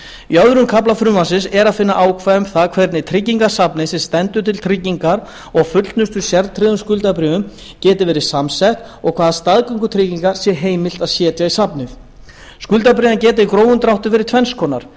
í öðrum kafla frumvarpsins er að finna ákvæði um það hvernig tryggingasafnið sem stendur til tryggingar og fullnustu sértryggðum skuldabréfum geti verið samsett og hvaða staðgöngutryggingar sé heimilt að setja í safnið skuldabréfin geta í grófum dráttum verið tvenns konar